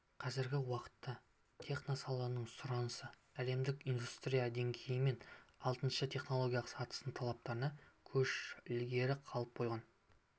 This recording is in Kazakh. қазіргі уақытта техносаланың сұранысы әлемдік индустрия деңгейі мен алтыншы технологиялық сатының талаптарынан көш ілгері қалып қойған